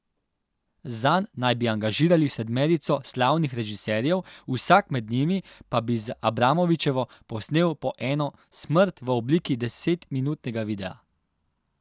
Zanj naj bi angažirali sedmerico slavnih režiserjev, vsak med njimi pa bi z Abramovićevo posnel po eno smrt v obliki desetminutnega videa.